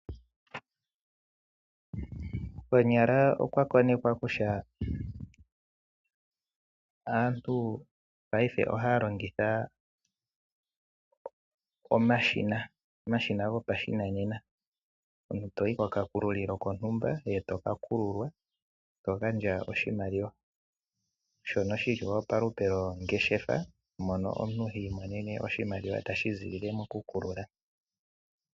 Konyala olwa konekwa kutya payife aantu ohaya lpngitha omashina gopashinanena, omuntu toyi koka kululilo kontumba, etoka kululwa to gandja oshimaliwa shono shili palupe lpngeshenfa mono omjntu hiimonene mo oshimaliwa tashizi mokukulula.